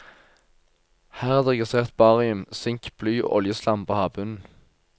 Her er det registrert barium, sink, bly og oljeslam på havbunnen.